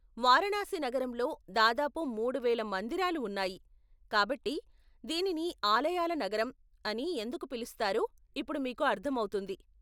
వారణాసి నగరంలో దాదాపు మూడు వేల మందిరాలు ఉన్నాయి, కాబట్టి, దీనిని 'ఆలయాల నగరం' అని ఎందుకు పిలుస్తారో ఇప్పుడు మీకు అర్థమవుతుంది.